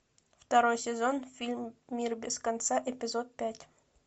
второй сезон фильм мир без конца эпизод пять